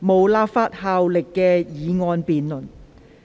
無立法效力的議案辯論。